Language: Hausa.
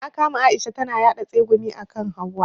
Na kama Aisha tana yaɗa tsegumi akan hauwa.